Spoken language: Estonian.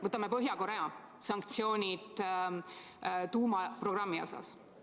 Vaatame Põhja-Koreale kehtestatud sanktsioone tuumaprogrammiga seoses.